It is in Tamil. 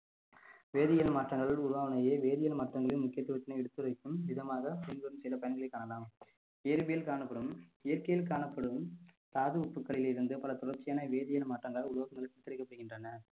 வேதியியல் மாற்றங்களில் உருவானதேயே வேதியியல் மாற்றங்களின் முக்கியத்துவத்தினை எடுத்துரைக்கும் விதமாக பின்வரும் சில பயன்களைக் காணலாம் இயற்பியல் காணப்படும் இயற்கையில் காணப்படும் தாது உப்புக்களில் இருந்து பல தொடர்ச்சியான வேதியியல் மாற்றங்களால் படுகின்றன